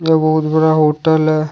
यह बहुत बड़ा होटल है।